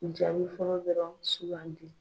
Jaabi fɔlɔ dɔrɔn sugandi.